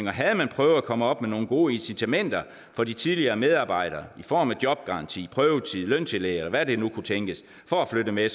og havde man prøvet at komme op med nogle gode incitamenter for de tidligere medarbejdere i form af jobgaranti prøvetid løntillæg eller hvad det nu kunne tænkes for at flytte med